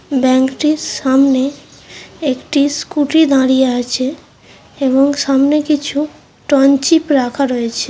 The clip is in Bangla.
ব্যাঙ্ক -টির সামনে একটি স্কুটি দাঁড়িয়ে আছে এবং সামনে কিছু টঞ্চিপ রাখা রয়েছে ।